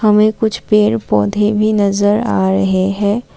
हमे कुछ पेड़ पौधे भी नजर आ रहे है।